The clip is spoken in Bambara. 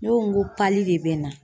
Ne ko n ko de bɛ n na